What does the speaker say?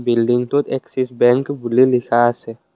বিল্ডিংটোত Axis Bank বুলি লিখা আছে।